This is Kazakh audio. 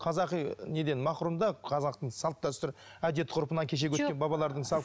қазақи ы неден мақұрым да қазақтың салт дәстүрі әдет ғұрпына кешегі өткен бабалардың салт